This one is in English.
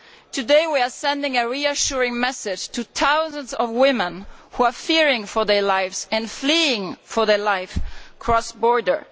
Today we are sending a reassuring message to thousands of women who fear for their lives and flee for their lives across borders.